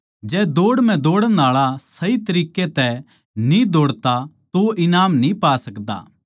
जै दौड़ म्ह दौड़ण आळा सही तरीकै तै न्ही दौड़ता तो वो ईनाम न्ही पा सकदा